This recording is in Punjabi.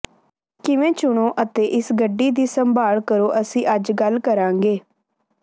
ਕਿਵੇਂ ਚੁਣੋ ਅਤੇ ਇਸ ਗੱਡੀ ਦੀ ਸੰਭਾਲ ਕਰੋ ਅਸੀਂ ਅੱਜ ਗੱਲ ਕਰਾਂਗੇ